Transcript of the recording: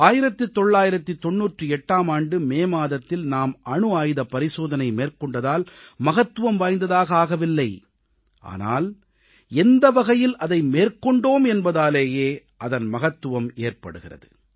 1998ஆம் ஆண்டு மே மாதத்தில் நாம் அணு ஆயுதப் பரிசோதனை மேற்கொண்டதால் மகத்துவம் வாய்ந்ததாக ஆகவில்லை ஆனால் எந்த வகையில் அதை மேற்கொண்டோம் என்பதாலேயே அதன் மகத்துவம் ஏற்படுகிறது